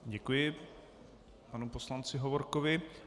Děkuji panu poslanci Hovorkovi.